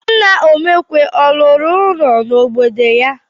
Nna Omekwe ọ rụrụ ụlọ n'obodo ya?